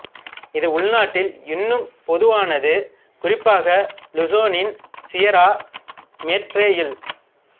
இது உள்நாட்டில் இன்னும் பொதுவானது குறிப்பாக லுசோனின் சியரா மேட்ரேயில்